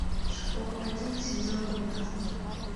школа один сезон двенадцать